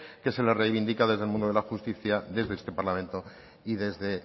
que se le reivindica desde el mundo de la justicia desde este parlamento y desde